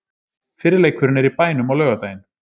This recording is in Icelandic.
Fyrri leikurinn er í bænum á laugardaginn.